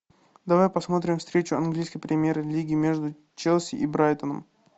давай посмотрим встречу английской премьер лиги между челси и брайтоном